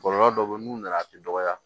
Kɔlɔlɔ dɔ bɛ yen n'u nana a bɛ dɔgɔya